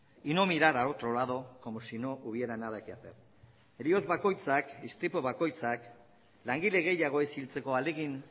y no mirar a otro lado como si no hubiera nada que hacer heriotz bakoitzak istripu bakoitzak langile gehiago ez hiltzeko ahalegin